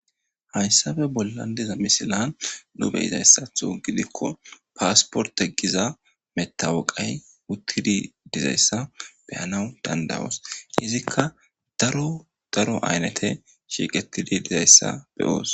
Hayssappe bollan diza misila nu be'izaththo gidikko paasporte ekkiza metawoqay uttidi dizayssa be'anaw danda'os. Izikka daro daro ayinate shiiqetidi dizayssa be'os.